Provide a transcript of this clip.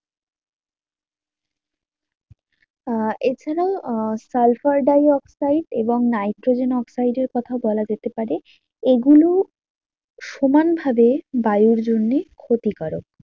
আহ এ ছাড়াও আহ সালফার ডাই অক্সাইড এবং নাইট্রোজেন অক্সাইড এর কথা বলা যেতে পারে। এগুলো সমান ভাবে বায়ুর জন্য ক্ষতিকারক